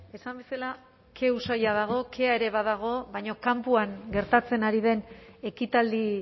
esan bezala ke usaina dago kea ere badago baina kanpoan gertatzen ari den ekitaldi